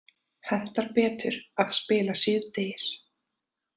Hentar betur að spila síðdegis